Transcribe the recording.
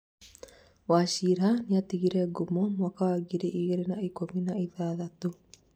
Wachira nĩatigire ngũmo mwaka wa ngiri igĩrĩ na ikũmi na ithathatũ